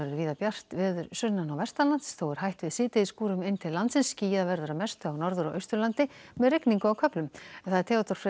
víða bjart veður sunnan og þó er hætt við inn til landsins skýjað verður að mestu á Norður og Austurlandi með rigningu á köflum Theodór Freyr